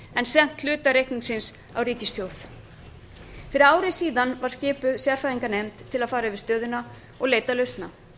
sent hluta reikningsins á ríkissjóð fyrir ári síðan var skipuð sérfræðinganefnd til að fara yfir stöðuna og leita lausna